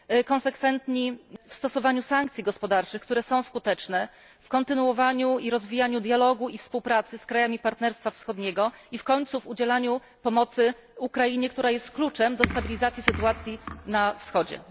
Konsekwentni w stosowaniu sankcji gospodarczych, które są skuteczne, w kontynuowaniu i rozwijaniu dialogu i współpracy z krajami Partnerstwa Wschodniego i w końcu w udzielaniu pomocy Ukrainie, która jest kluczem do stabilizacji sytuacji na Wschodzie.